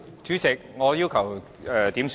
主席，我要求點算法定人數。